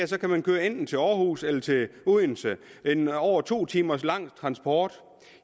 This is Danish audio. så kan man køre enten til aarhus eller til odense en over to timer lang transport